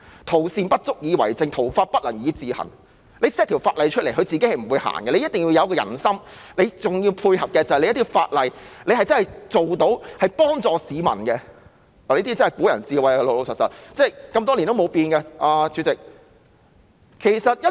"徒善不足以為政，徒法不能以自行"，你制定一項法例，它不能自己推行，必須要有仁心，還要配合的是法例要真的能夠幫助市民，這便是古人的智慧，經年不變，主席。